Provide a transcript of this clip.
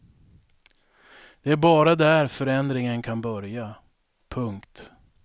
Det är bara där förändringen kan börja. punkt